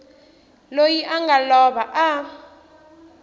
loyi a nga lova a